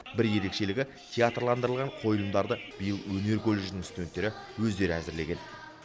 бір ерекшелігі театрландырылған қойылымдарды биыл өнер колледжінің студенттері өздері әзірлеген